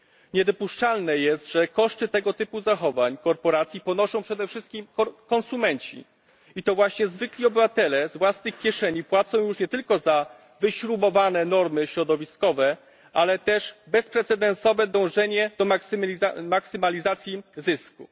Niedopuszczalne jest, że koszty tego typu zachowań korporacji ponoszą przede wszystkim konsumenci i to właśnie zwykli obywatele z własnych kieszeni płacą już nie tylko za wyśrubowane normy środowiskowe, ale też za bezprecedensowe dążenie do maksymalizacji zysku.